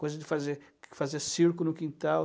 Coisa de fazer fazer circo no quintal.